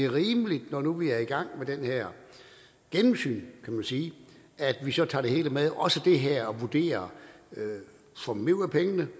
rimeligt når nu vi er i gang med det her gennemsyn kan man sige at vi så tager det hele med og også det her og vurderer får vi mere ud af pengene og